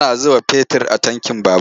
Ana zuba fetir a tankin babur.